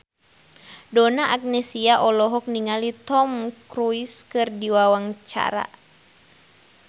Donna Agnesia olohok ningali Tom Cruise keur diwawancara